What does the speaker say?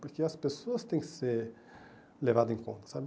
Porque as pessoas têm que ser levadas em conta, sabe?